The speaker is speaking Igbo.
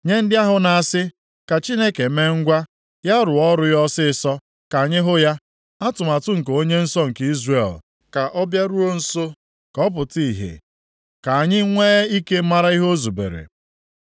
Nye ndị ahụ na-asị “Ka Chineke mee ngwa; ya rụọ ọrụ ya ọsịịsọ, ka anyị hụ ya. Atụmatụ nke Onye nsọ nke Izrel, ka ọ bịaruo nso, ka ọ pụta ìhè, ka anyị nwe ike mara ihe o zubere. + 5:19 \+xt Jer 17:15\+xt*”